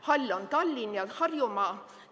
Hall on Tallinn ja Harjumaa.